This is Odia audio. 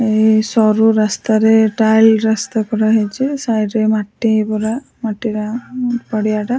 ଏହି ସରୁ ରାସ୍ତାରେ ଟାଇଲ ରାସ୍ତା କରାହେଇଚି ସାଇଟରେ ମାଟି ପୂରା ମାଟି ଗାଁ ଉଁ ପଡିଆଟା।